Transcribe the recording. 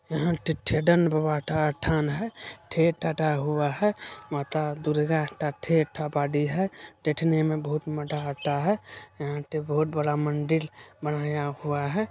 यहाँ पे ठेदत भवन ठान है थेट थता हुआ है माता दुर्गा थेट पड़ी है देखने में बहुत मजा आता है यहाँ पे बहुत बड़ा मंदिर बनाया हुआ है।